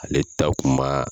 Ale ta kun maa